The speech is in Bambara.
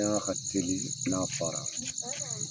ka teli n'a fara.